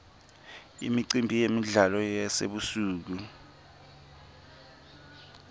imicimbi yemidlalo yasebusuku